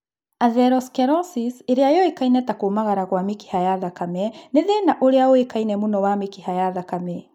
Atherosclerosis, ĩrĩa yũĩkaine ta kũmagara gwa mĩkiha ya thakame, nĩ thĩna ũrĩa ũĩkaine mũno wa mĩkiha ya thakame